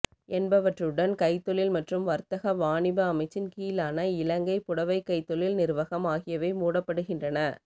என்பவற்றுடன் கைத்தொழில் மற்றும் வர்த்தக வாணிப அமைச்சின் கீழான இலங்கை புடவைக்கைத்தொழில் நிறுவகம் ஆகியவையே மூடப்படுகின்றன